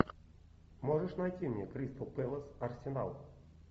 можешь найти мне кристал пэлас арсенал